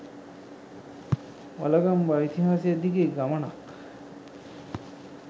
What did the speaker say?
වළගම්බා ඉතිහාසය දිගේ ගමනක්